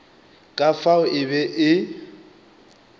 ka fao e be e